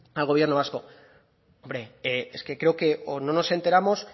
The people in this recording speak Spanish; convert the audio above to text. al gobierno vasco hombre es que creo que o no nos enteramos